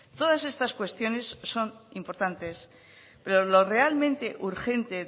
todas estas cuestiones son importantes pero lo realmente urgente